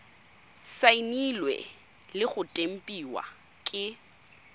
saenilwe le go tempiwa ke